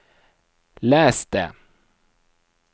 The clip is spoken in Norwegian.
les det